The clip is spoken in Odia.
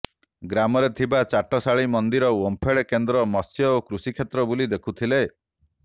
ଗ୍ରାମରେ ଥିବା ଚାଟଶାଳି ମନ୍ଦିର ଓମ୍ଫେଡ୍ କେନ୍ଦ୍ର ମତ୍ସ୍ୟ ଓ କୃଷି କ୍ଷେତ୍ର ବୁଲି ଦେଖିଥିଲେ